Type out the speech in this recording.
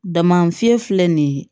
Dama fiɲɛ filɛ nin ye